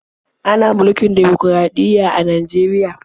Ana mulkin dimokuraɗiyya a Najeriya.